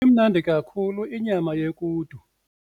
Imnandi kakhulu inyama yequdu.